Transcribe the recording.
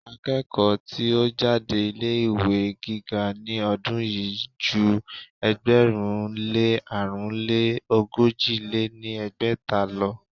Akẹ́kọ̀ọ́ tí ó jáde ilé ìwé gíga ní ọdún yìí ju ẹgbẹ̀rún lé àrún lé ogójì lé ní ẹgbẹ́ta lọ.